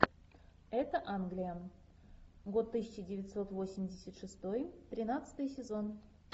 это англия год тысяча девятьсот восемьдесят шестой тринадцатый сезон